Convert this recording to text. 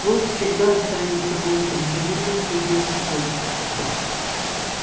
волк всегда останется волком заметил судья скотт